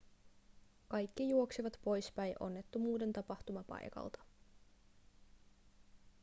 kaikki juoksivat poispäin onnettomuuden tapahtumapaikalta